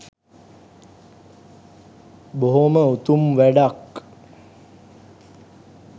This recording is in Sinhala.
බොහොම උතුම් වැඩක්.